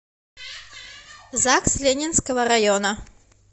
загс ленинского района